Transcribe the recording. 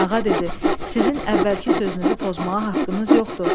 Ağa dedi: “Sizin əvvəlki sözünüzü pozmağa haqqınız yoxdur.